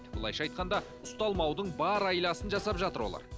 былайша айтқанда ұсталмаудың бар айласын жасап жатыр олар